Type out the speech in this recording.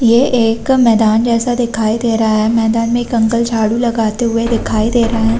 ये एक मैदान जैसा दिखाई दे रहा है मैदान मैं एक अंकल झाड़ू लगाते हुए दिखाई दे रहे है।